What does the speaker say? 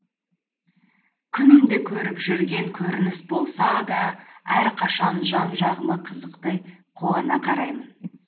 күнде көріп жүрген көрініс болса да әрқашан жан жағыма қызықтай қуана қараймын